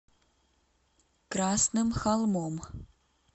красным холмом